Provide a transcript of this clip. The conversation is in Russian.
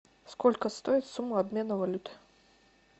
сколько стоит сумма обмена валюты